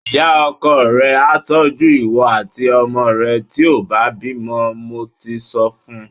Ìyá-ọkọ rẹ a tọ́jú ìwọ àti ọmọ rẹ tí ó bá bímọ, mo ti sọ fun.